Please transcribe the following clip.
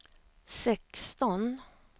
sexton